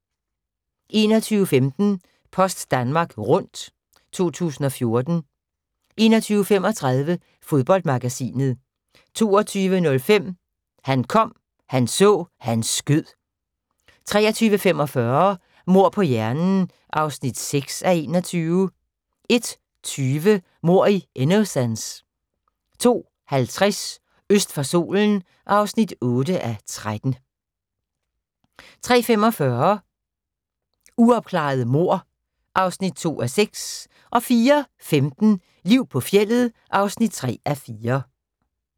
21:15: Post Danmark Rundt 2014 21:35: Fodboldmagasinet 22:05: Han kom, han så, han skød 23:45: Mord på hjernen (6:21) 01:20: Mord i Innocence 02:50: Øst for solen (8:13) 03:45: Uopklarede mord (2:6) 04:15: Liv på fjeldet (3:4)